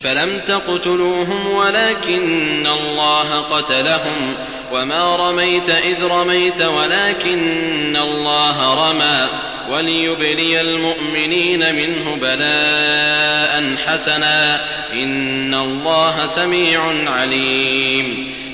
فَلَمْ تَقْتُلُوهُمْ وَلَٰكِنَّ اللَّهَ قَتَلَهُمْ ۚ وَمَا رَمَيْتَ إِذْ رَمَيْتَ وَلَٰكِنَّ اللَّهَ رَمَىٰ ۚ وَلِيُبْلِيَ الْمُؤْمِنِينَ مِنْهُ بَلَاءً حَسَنًا ۚ إِنَّ اللَّهَ سَمِيعٌ عَلِيمٌ